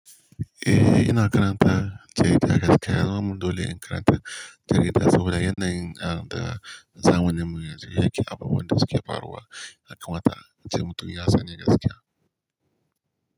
Eh, ina karanta jarida gaskiya. Zamu dole in karanta jarida saboda yanayin da zamaninmu yanzu yake, abubuwan da suke faruwa yakamata, ace mutum ya sani gaskiya.